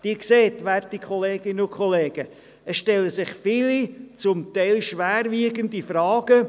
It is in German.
Sie sehen, werte Kolleginnen und Kollegen, es stellen sich viele, teilweise schwerwiegende Fragen.